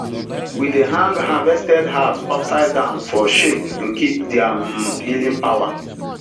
we dey hang harvested herbs upside down for shake to keep their um healing power